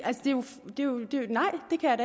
jeg